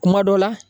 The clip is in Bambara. Kuma dɔ la